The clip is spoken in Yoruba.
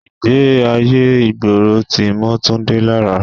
Ìgbé ayé ìgboro tí mọ́ Túndé lára.